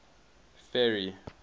ferry